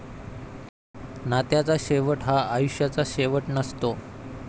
नात्याचा शेवट हा आयुष्याचा शेवट नसतो.